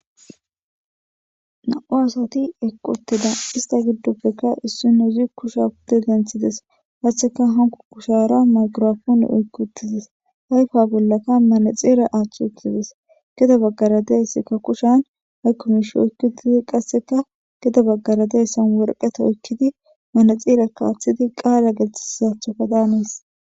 na7u asati eqotidan ista giddoppekka issi nozi kusha ute denthides qasseka hanku kushara magorafone oykkutides hayfa bollaka manaxiera aaththu utides geda baggara deysseka kushan haykkumish oykkutidi qasseka geda baggara deyssan worqeta oykkidi manaxierakka aaththidi qaala gelthisathofa daanas